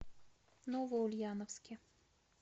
новоульяновске